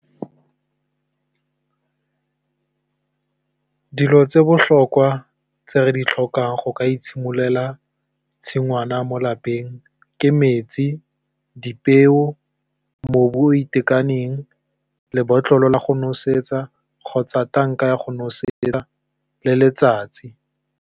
Dilo tse di botlhokwa tse re di tlhokang go ka itshimololela tshingwana mo lapeng ke metsi, dipeo, mobu o itekaneng, lebotlolo la go nosetsa, kgotsa tanka ya go nosetsa, le letsatsi.